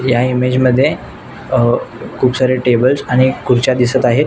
या इमोजअ मध्ये अ खुप सारे टेबलस आणि खुर्च्या दिसत आहे.